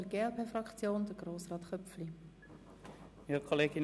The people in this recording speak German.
Für die glp-Fraktion hat Grossrat Köpfli das Wort.